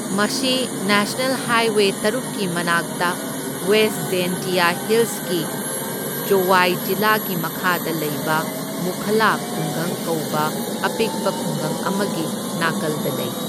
ꯃꯁꯤ national highway ꯇꯔꯨꯛꯀꯤ ꯃꯅꯥꯛꯇ ꯋꯦꯁ ꯖꯦꯟꯇꯤꯌꯥ ꯍꯤꯜꯁꯀꯤ ꯖꯣꯋꯥꯏ ꯖꯤꯂꯥꯒꯤ ꯃꯈꯥꯗ ꯂꯩꯕ ꯃꯨꯈꯂꯥ ꯈꯨꯡꯒꯪ ꯀꯧꯕ ꯑꯄꯤꯛꯄ ꯈꯨꯡꯒꯪ ꯑꯃꯒꯤ ꯅꯥꯀꯜꯗ ꯂꯩ꯫